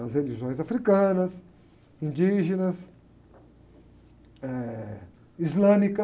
As religiões africanas, indígenas, eh, islâmica.